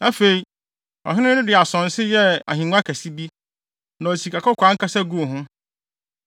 Afei, ɔhene no de asonse yɛɛ ahengua kɛse bi, na ɔde sikakɔkɔɔ ankasa guu ho.